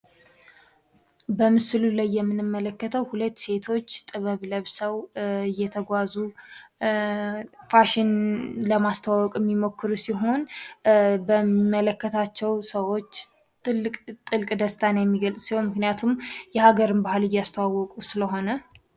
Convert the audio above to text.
በምስሉ ላይ የምንመለከተው ሁለት ሴቶች እየተጓዙ ፋሽን ለማስተዋወቅ የሚሞክሩ ሲሆን በሚመለከታቸው ሰው ትልቅ ጥልቅ ደስታ የሚገልጽ ሲሆን ምክንያቱም የሀገር ባህልን እያስተዋወቁ ስለሆነ።